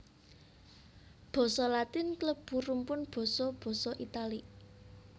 Basa Latin klebu rumpun basa basa Italik